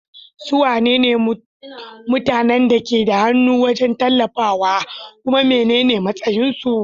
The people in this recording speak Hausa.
Su wane ne mutanen da ke da hannu wajen wallafawa, kuma menene matsayinsu?